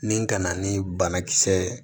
Nin kana ni banakisɛ ye